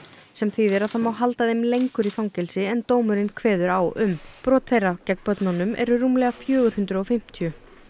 sem þýðir að það má halda þeim lengur í fangelsi en dómurinn kveður á um brot þeirra gegn börnunum eru rúmlega fjögur hundruð og fimmtíu